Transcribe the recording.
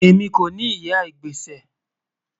Ẹmi kò ni ìyà igbésẹ́.